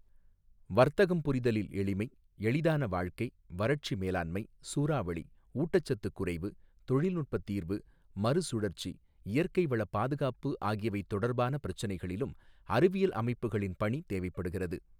வர்த்தகம் புரிதலில் எளிமை, எளிதான வாழ்க்கை, வறட்சி மேலாண்மை, சூறாவளி, ஊட்டச்சத்து குறைவு, தொழில்நுட்ப தீர்வு, மறுசுழற்சி, இயற்கை வள பாதுகாப்பு ஆகியவை தொடர்பான பிரச்சனைகளிலும் அறிவியல் அமைப்புகளின் பணி தேவைப்படுகிறது.